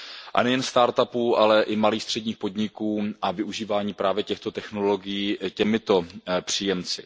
A nejen start upů, ale i malých středních podniků a využívání právě těchto technologií těmito příjemci.